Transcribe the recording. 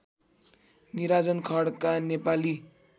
Nirajan Khadka Nepali